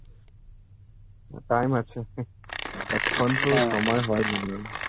না time আছে এখন তো সময় হয় নি.